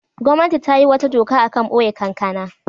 Gwamnati ta yi wata doka a kan boye kankana.